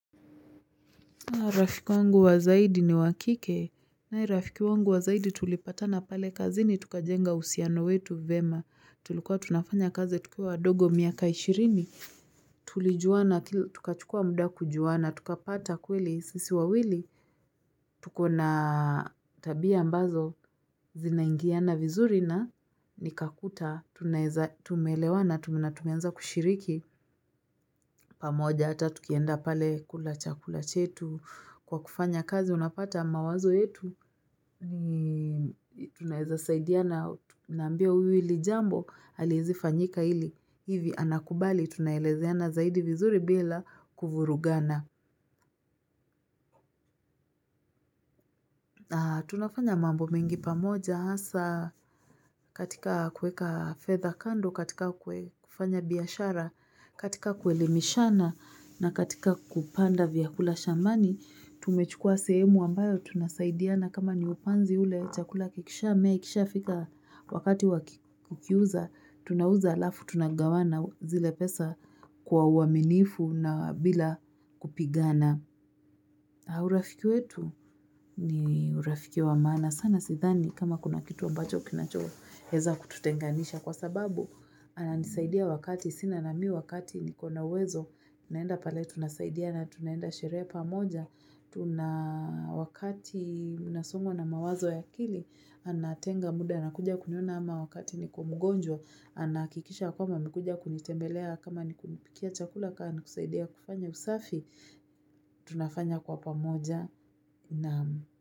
Rafiki wangu wa zaidi ni wakike. Nae rafiki wangu wa zaidi tulipata na pale kazini tuka jenga uhusiano wetu vyema. Tulikua tunafanya kazi tukiwa wadogo miaka ishirini. Tulijuana kila, tukachukua muda kujuana, tukapata kweli, sisi wawili. Tuko na tabia ambazo, zinaingiana vizuri na nikakuta, tume elewana tumeanza kushiriki. Pamoja hata tukienda pale kula chakula chetu. Kwa kufanya kazi unapata mawazo yetu, tunaweza saidiana, naambia huyu ili jambo, haliwezi fanyika hili. Hivyo anakubali tunaelezeana zaidi bila kuvurugana. Na tunafanya mambo mingi pamoja, hasa katika kueka fedha kando, katika kufanya biashara, katika kueli mishana na katika kupanda vyakula shambani, tumechukua sehemu ambayo tunasaidiana kama ni upanzi ule chakula kikisha, mea ikisha fika wakati waku kiuza, tunauza halafu tunagawana zile pesa kwa uaminifu na bila kupigana. Na urafiki wetu ni urafiki wa maana sana sidhani kama kuna kitu ambacho kinacho weza kututenganisha kwa sababu. Ananisaidia wakati sina na mi wakati niko na wezo. Naenda pale tunasaidiana tunaenda sherehe pamoja. Tuna wakati nasongwa na mawazo ya akili anatenga muda na kuja kuniona ama wakati niko mgonjwa. Anahakikisha kwamba amekuja kunitembelea kama nikuni pikia chakula kama nikusaidia kufanya usafi. Tunafanya kwa pamoja na.